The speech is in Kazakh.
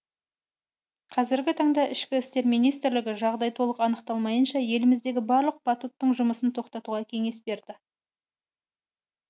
қазіргі таңда ішкі істер министрлігі жағдай толық анықталмайынша еліміздегі барлық батуттың жұмысын тоқтатуға кеңес берді